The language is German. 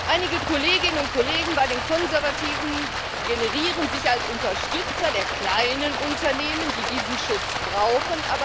Einige Kolleginnen und Kollegen bei den Konservativen gerieren sich als Unterstützer der kleinen Unternehmen, die diesen Schutz brauchen.